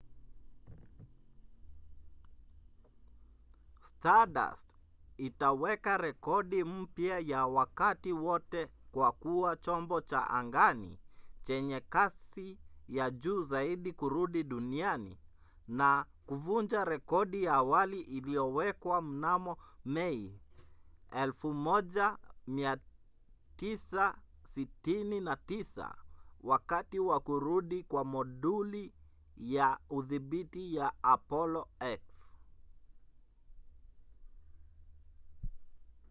stardust itaweka rekodi mpya ya wakati wote kwa kuwa chombo cha angani chenye kasi ya juu zaidi kurudi duniani na kuvunja rekodi ya awali iliyowekwa mnamo mai 1969 wakati wa kurudi kwa moduli ya udhibiti ya apollo x